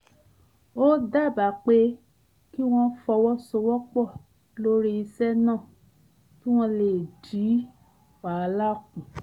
ó dábàá pé kí wọ́n fọwọ́sowọ́pọ̀ lórí iṣẹ́ náà kí wọ́n lè dín wàhálà kù